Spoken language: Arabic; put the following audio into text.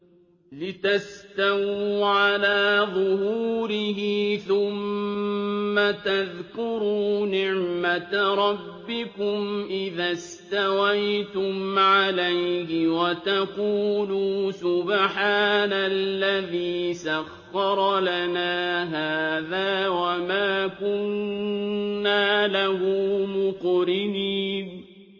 لِتَسْتَوُوا عَلَىٰ ظُهُورِهِ ثُمَّ تَذْكُرُوا نِعْمَةَ رَبِّكُمْ إِذَا اسْتَوَيْتُمْ عَلَيْهِ وَتَقُولُوا سُبْحَانَ الَّذِي سَخَّرَ لَنَا هَٰذَا وَمَا كُنَّا لَهُ مُقْرِنِينَ